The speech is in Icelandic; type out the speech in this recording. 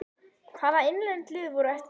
Hvaða innlend lið voru á eftir þér?